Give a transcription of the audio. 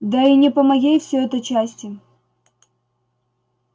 да и не по моей всё это части